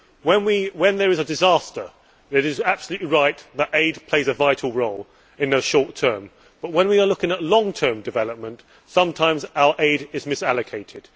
When there is a disaster it is absolutely right that aid plays a vital role in the short term but when we are looking at long term development sometimes our aid is misallocated.